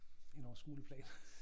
En overskuelig plan